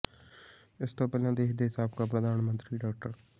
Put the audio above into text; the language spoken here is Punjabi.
ਇਸ ਤੋਂ ਪਹਿਲਾਂ ਦੇਸ਼ ਦੇ ਸਾਬਕਾ ਪ੍ਰਧਾਨ ਮੰਤਰੀ ਡਾ